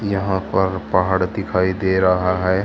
यहां पर पहाड़ दिखाई दे रहा है।